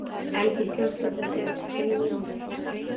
Elsí, slökktu á þessu eftir fimm mínútur.